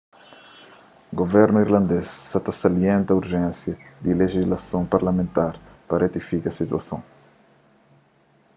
guvernu irlandês sa ta salienta urjénsia di lejislason parlamentar pa retifika situason